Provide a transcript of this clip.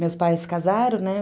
Meus pais casaram, né?